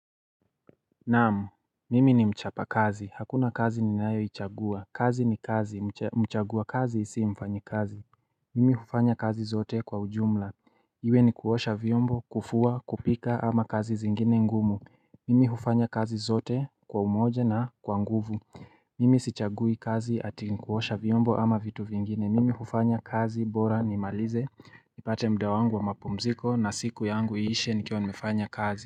Naam, mimi ni mchapa kazi, hakuna kazi ninayo ichagua, kazi ni kazi, mchagua kazi si mfanyi kazi Mimi hufanya kazi zote kwa ujumla Iwe ni kuosha vyombo, kufua, kupika ama kazi zingine ngumu Mimi hufanya kazi zote kwa umoja na kwa nguvu Mimi sichagui kazi ati nikuosha vyombo ama vitu vingine, Mimi hufanya kazi bora nimalize, nipate muda wangu wa mapumziko na siku yangu iishe nikiwa nimefanya kazi.